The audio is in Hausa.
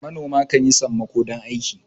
manoma kan yi sammako don aiki